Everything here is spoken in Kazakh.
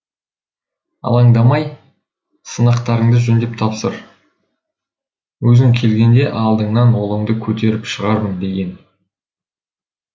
алаңдамай сынақтарыңды жөндеп тапсыр өзің келгенде алдыңнан ұлыңды көтеріп шығармын деген